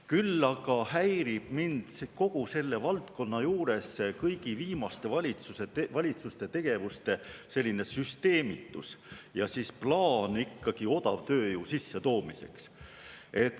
Küll aga häirib mind kogu selle valdkonna juures kõigi viimaste valitsuste tegevuste selline süsteemitus ja plaan tuua sisse odavtööjõudu.